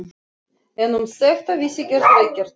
En um þetta vissi Gerður ekkert.